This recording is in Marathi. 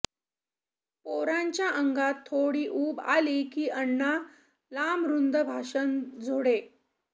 पोरांच्या अंगात थोडी ऊब आली की अण्णा लांबरुंद भाषण झोडे